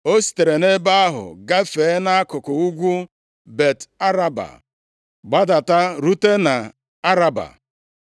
O sitere nʼebe ahụ gafee nʼakụkụ ugwu Bet-Araba gbadata rute nʼAraba,